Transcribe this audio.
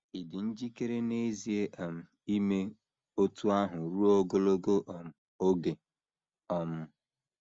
Ị̀ dị njikere n’ezie um ime otú ahụ ruo ogologo um oge? um